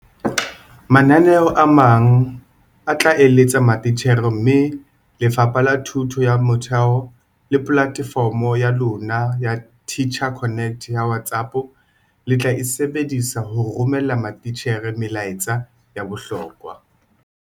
Mananeo a mang a tla eletsa matitjhere mme Lefapha la Thuto ya Motheo le polatefomo ya lona ya Teacher Connect ya WhatsApp le tla e sebedisa ho romella matitjhere melaetsa ya bohlokwa.